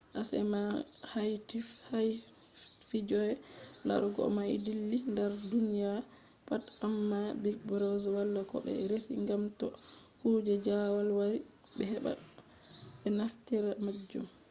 acma haifti koje larugo mai dilli dar duniya pat, amma big brother wala ko be resi gam to kuje jawal wari be heba be naftira majum